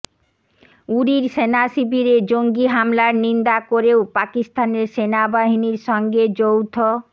উরির সেনাশিবিরে জঙ্গি হামলার নিন্দা করেও পাকিস্তানের সেনাবাহিনীর সঙ্গে যৌথ